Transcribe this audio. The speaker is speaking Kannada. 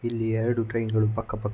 ಇಲ್ಲಿ ಎರಡು ಟ್ರೈನ್ಗಳು ಪಕ್ಕ ಪಕ್ಕ--